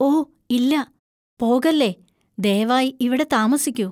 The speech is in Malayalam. ഓ ഇല്ല... പോകല്ലേ. ദയവായി ഇവിടെ താമസിക്കൂ.